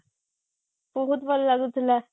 ବହୁତ ଭଲ ଲାଗୁଥିଲା